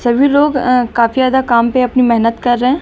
सभी लोग अं काफी ज्यादा काम पे अपनी मेहनत कर रहे हैं।